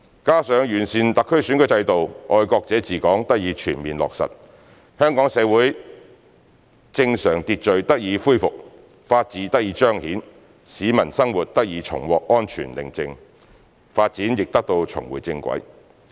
加上完善特區選舉制度，"愛國者治港"得以全面落實，香港社會正常秩序得以恢復、法治得以彰顯、市民生活重獲安全寧靜、發展亦得以重回正軌。